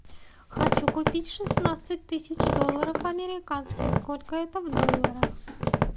хочу купить шестнадцать тысяч долларов американских сколько это в долларах